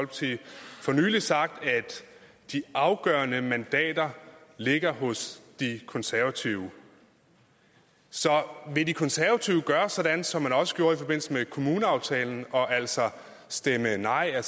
nylig sagt at de afgørende mandater ligger hos de konservative så vil de konservative gøre sådan som man også gjorde i forbindelse med kommuneaftalen altså stemme nej og